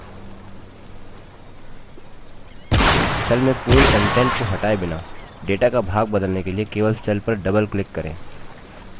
cell में पूर्ण contents को हटाए बिना data का भाग बदलने के लिए केवल cell पर double click करें